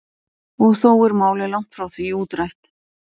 Og þó er málið langt frá því útrætt.